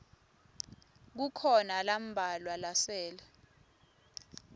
kukhona lambalwa lasele